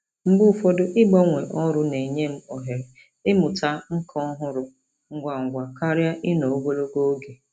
Mgbe ụfọdụ, ịgbanwe ọrụ na-enye m ohere ịmụta nkà ọhụrụ ngwa ngwa karịa ịnọ ogologo oge.